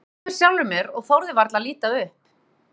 Ég brosti með sjálfri mér og þorði varla að líta upp.